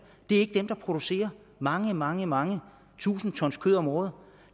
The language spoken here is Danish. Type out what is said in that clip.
er ikke blandt dem der producerer mange mange mange tusinde ton kød om året